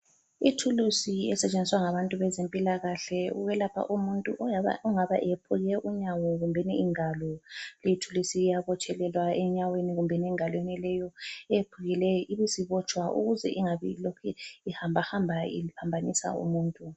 Ithulusi esetshenziswa ngabantu bezempilakahle ukwelapha umuntu ongabe eyephuke unyawo kumbe ingalo, lithulusi iyabotshelelwa enyaweni kumbeni engalweni leyo eyephukileyo ibisibotshwa ukuze ingabe ilokhe ihamba hamba iphambanisa umuntu.